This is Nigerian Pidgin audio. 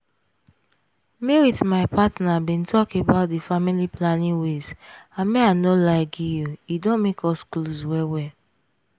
me wit my partner bin talk about di family planning ways and may i no lie gi you e don make us close well well.